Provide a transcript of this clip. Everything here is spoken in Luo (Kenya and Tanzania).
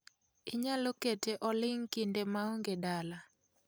Inyalo kete oling' kinde maonge edala